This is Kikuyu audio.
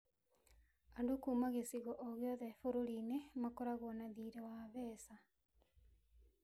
"Andũ kuuma gĩcigo o gĩothe bũrũri-inĩ makoragwo na thiirĩ wa Zesa".